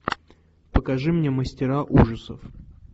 покажи мне мастера ужасов